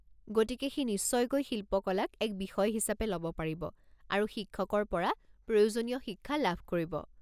গতিকে সি নিশ্চয়কৈ শিল্পকলাক এক বিষয় হিচাপে ল'ব পাৰিব আৰু শিক্ষকৰ পৰা প্ৰয়োজনীয় শিক্ষা লাভ কৰিব।